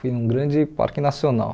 Foi em um grande parque nacional.